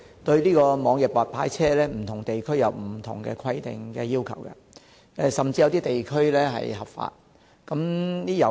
對於網約白牌車，不同地區均有不同的規定，有些地區甚至是合法的。